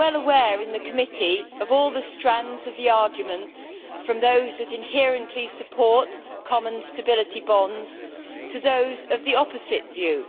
We are well aware, in the Committee, of all the strands of the arguments, from those that inherently support common stability bonds to those of the opposite view.